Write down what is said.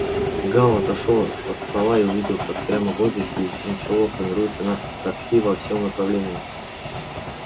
гал отошёл от стола и увидел как прямо в воздухе из ничего формируется надпись такси во всём направлении